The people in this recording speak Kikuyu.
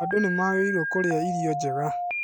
Andũ nĩmagĩrĩirwo nĩ kũrĩa irio njega